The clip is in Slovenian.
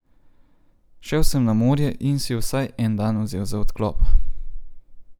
Šel sem na morje in si vsaj en dan vzel za odklop.